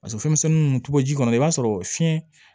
Paseke fɛnmisɛnnin ninnu to ji kɔnɔ i b'a sɔrɔ fiɲɛ